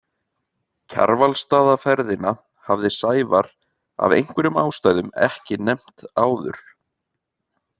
Kjarvalsstaðaferðina hafði Sævar af einhverjum ástæðum ekki nefnt áður.